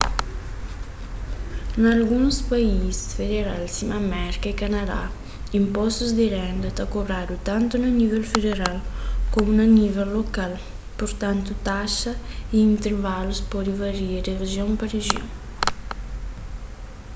na alguns país federal sima merka y kanadá inpostu di renda ta kobradu tantu na nível federal komu na nível lokal purtantu taxas y intrivalus pode varia di rijion pa rijion